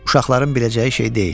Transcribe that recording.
Uşaqların biləcəyi şey deyil.